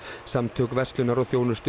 samtök verslunar og þjónustu